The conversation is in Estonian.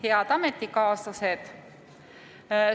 Head ametikaaslased!